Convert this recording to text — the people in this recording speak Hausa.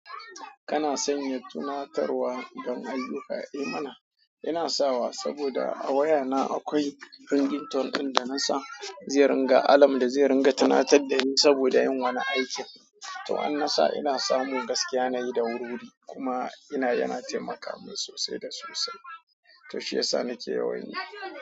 Kana sanya tunatarwa don ayyuka, eh mana. Ina sawa saboda a wayana akwai ringtone ɗin da na sa zai ringa alam da zai ringa tanatar da ni saboda yin wani aikin. To an na sa ina samu gaskiya nayi da wuri wuri kuma ina yana taimaka min sosai da sosai. To shiyasa nake yawan yi.